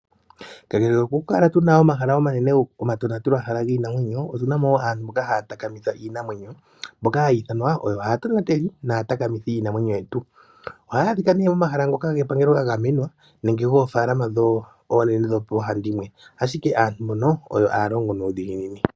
Kakele kokukala tuna omahala omanene giinamwenyo, otunamo wo aantu mboka haya takamitha iinamwenyo. Mbokahaya ithanwa oyo aatonateli naatakamithi yiinamwenyo yetu, ohaya adhika nee momahala gepangelo ga gamenwa nemge goofalama dho oonene dhoohandimwe, ashike aantu mbono oyo haya longo nuudhiginini.